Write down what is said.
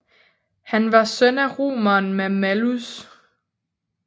Han var søn af romeren Mammalus